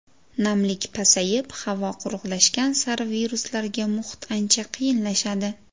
Namlik pasayib, havo quruqlashgan sari viruslarga muhit ancha qiyinlashadi.